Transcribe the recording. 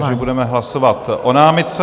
Ano, takže budeme hlasovat o námitce.